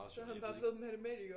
Så han bare blevet matematiker